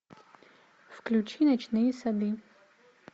включи ночные сады